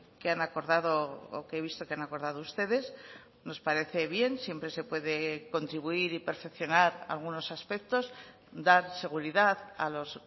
que han acordado o que he visto que han acordado ustedes nos parece bien siempre se puede contribuir y perfeccionar algunos aspectos dar seguridad a los